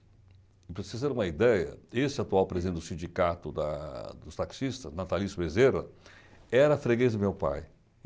Para vocês terem uma ideia, esse atual presidente do sindicato da dos taxistas, Natalício Bezerra, era freguês do meu pai.